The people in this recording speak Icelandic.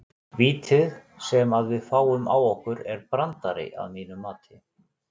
Vítið sem að við fáum á okkur er brandari að mínu mati.